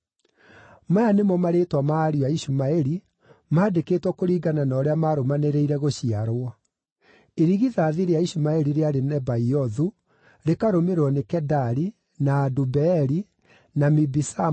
Maya nĩmo marĩĩtwa ma ariũ a Ishumaeli, maandĩkĩtwo kũringana na ũrĩa maarũmanĩrĩire gũciarwo: Irigithathi rĩa Ishumaeli rĩarĩ Nebaiothu, rĩkarũmĩrĩrwo nĩ Kedari, na Adubeeli, na Mibisamu,